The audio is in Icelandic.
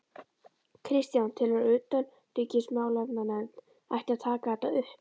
Kristján: Telurðu að utanríkismálanefnd ætti að taka þetta upp?